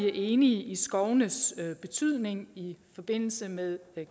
er enig i skovenes betydning i forbindelse med